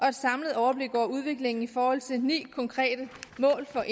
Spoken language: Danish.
et samlet overblik over udviklingen i forhold til ni konkrete mål for